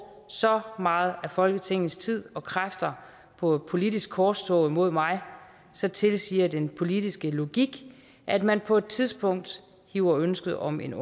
så meget af folketingets tid og kræfter på et politisk korstog imod mig så tilsiger den politiske logik at man på et tidspunkt hiver ønsket om en